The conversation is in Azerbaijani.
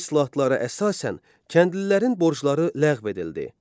Bu islahatlara əsasən kəndlilərin borcları ləğv edildi.